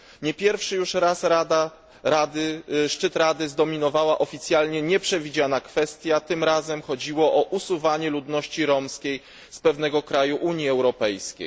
Nie pierwszy już raz szczyt Rady zdominowała oficjalnie nieprzewidziana kwestia, tym razem chodziło o usuwanie ludności romskiej z pewnego kraju Unii Europejskiej.